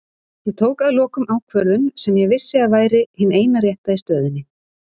Ég tók að lokum ákvörðun sem ég vissi að væri hin eina rétta í stöðunni.